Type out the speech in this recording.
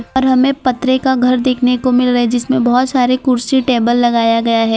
और हमें पतरे घर देखने को मिल रहा है जिसमें बहुत सारे कुर्सी टेबल लगाया गया है।